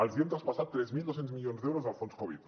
els hem traspassat tres mil dos cents milions d’euros del fons covid